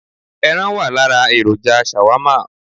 Ẹran wà lára èròjà Shawarma